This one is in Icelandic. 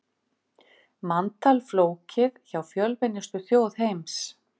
Manntal flókið hjá fjölmennustu þjóð heims